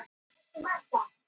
Ég vil líka vera forvitin.